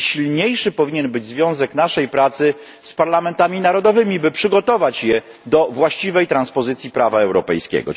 Silniejszy powinien być też związek naszej pracy z parlamentami narodowymi, by przygotować je do właściwej transpozycji prawa europejskiego.